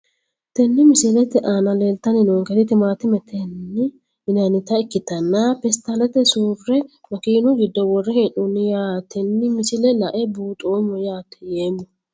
Tini misilete aana leeltani noonketi timaatinete yinanita ikitanna peestaalete sure makiinu giddo wore heenoni yaateni misile lae buuxomo yaate yeemo.